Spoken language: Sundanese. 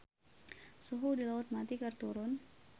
Suhu di Laut Mati keur turun